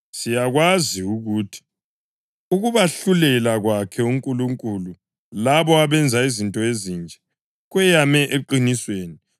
Siyakwazi ukuthi ukubahlulela kwakhe uNkulunkulu labo abenza izinto ezinje kweyame eqinisweni.